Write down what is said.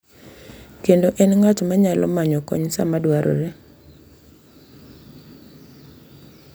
Kendo en ng’at ma nyalo manyo kony sama dwarore.